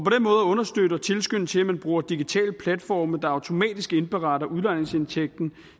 at understøtte og tilskynde til at man bruger digitale platforme der automatisk indberetter udlejningsindtægten